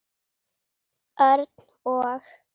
Örn og